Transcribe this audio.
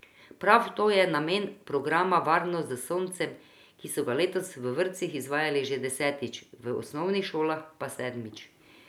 Prav to je namen programa Varno s soncem, ki so ga letos v vrtcih izvajali že desetič, v osnovnih šolah pa sedmič.